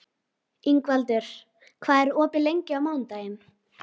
Bóndinn á bænum furðaði sig á þessari heimsókn.